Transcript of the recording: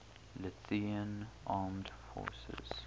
lithuanian armed forces